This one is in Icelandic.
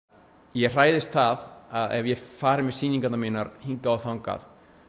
ég hræðist það að ef ég fari með sýningarnar mínar hingað og þangað